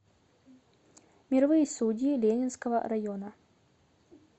мировые судьи ленинского района